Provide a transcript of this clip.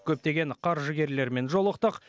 көптеген қаржыгерлермен жолықтық